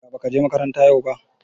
Ya bakaje makaranta yau ba